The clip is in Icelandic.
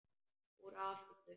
Úr Afríku!